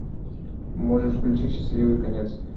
можешь включить счастливый конец